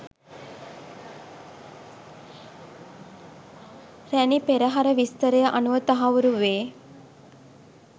රැණි පෙරහර විස්තරය අනුව තහවුරු වේ.